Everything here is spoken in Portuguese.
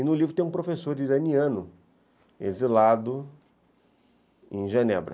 E no livro tem um professor iraniano exilado em Genebra.